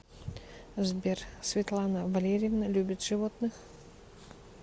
сбер светлана валерьевна любит животных